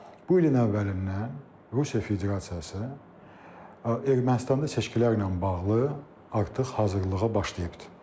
bu ilin əvvəlindən Rusiya Federasiyası Ermənistanda seçkilərlə bağlı artıq hazırlığa başlayıbdır.